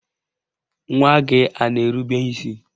Nwa gị a na-erube isi?